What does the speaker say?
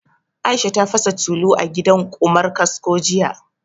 Aisha ta fasa tulu a gidan Ƙumar kasko jiya